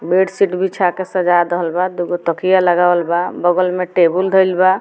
Bedsheet बिछा के सजा दहीइल बा दू गो तकिया लगावल बा बगल में टेबुल धइल बा।